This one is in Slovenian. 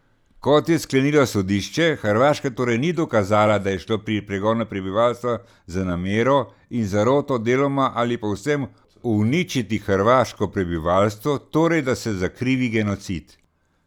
Kot je sklenilo sodišče, Hrvaška torej ni dokazala, da je šlo pri pregonu prebivalstva za namero in zaroto deloma ali povsem uničiti hrvaško prebivalstvo, torej da se zakrivi genocid.